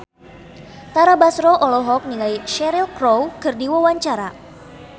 Tara Basro olohok ningali Cheryl Crow keur diwawancara